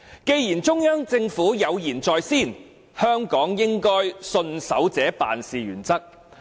既然中央政府有言在先，香港應該信守這辦事原則。